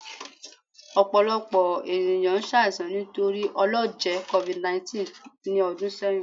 Ọpọlọpọ eniyan ṣaisan nitori ọlọjẹ covid19 ni ọdun sẹyin